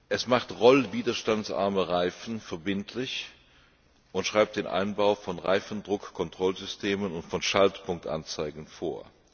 Es macht rollwiderstandsarme Reifen verbindlich und schreibt den Einbau von Reifendruckkontrollsystemen und von Schaltpunktanzeigen vor.